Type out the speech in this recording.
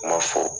Kuma fɔ